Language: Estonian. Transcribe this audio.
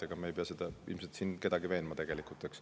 Ega me selles ei pea ilmselt siin kedagi veenma.